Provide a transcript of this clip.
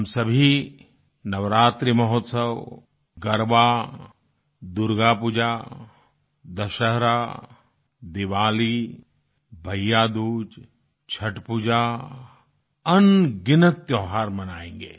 हम सभी नवरात्रि महोत्सव गरबा दुर्गापूजा दशहरा दीवाली भैयादूज छठपूजा अनगिनत त्यौहार मनायेंगे